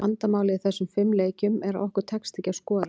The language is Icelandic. Vandamálið í þessum fimm leikjum, er að okkur tekst ekki að skora.